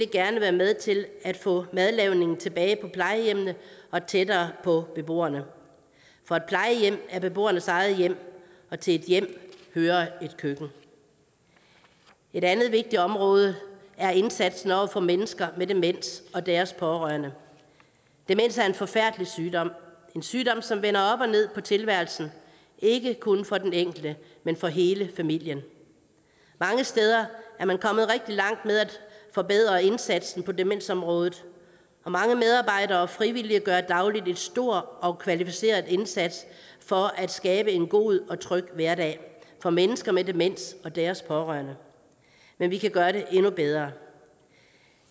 gerne være med til at få madlavningen tilbage på plejehjemmene og tættere på beboerne for et plejehjem er beboernes eget hjem og til et hjem hører et køkken et andet vigtigt område er indsatsen over for mennesker med demens og deres pårørende demens er en forfærdelig sygdom en sygdom som vender op og ned på tilværelsen ikke kun for den enkelte men for hele familien mange steder er man kommet rigtig langt med at forbedre indsatsen på demensområdet og mange medarbejdere og frivillige gør dagligt en stor og kvalificeret indsats for at skabe en god og tryg hverdag for mennesker med demens og deres pårørende men vi kan gøre det endnu bedre